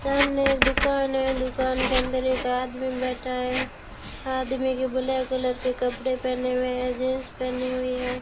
सामने एक दुकान है दुकान के अंदर एक आदमी बैठा है आदमी की ब्लैक कलर के कपड़े पहने हुए हैं जींस पहनी हुई है।